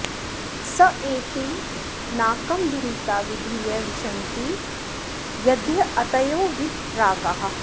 स एति नाकं दुरिता विधूय विशन्ति यद्यतयो वीतरागाः